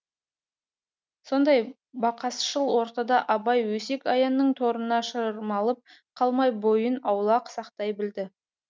сондай бақасшыл ортада абай өсек аяңның торына шырмалып қалмай бойын аулақ сақтай білді